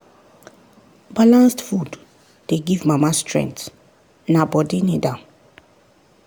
balanced food dey give mama strength na body need am.